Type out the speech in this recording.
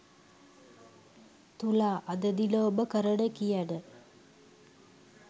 තුලා අද දින ඔබ කරන කියන